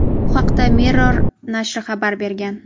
Bu haqda "Mirror" nashri xabar bergan.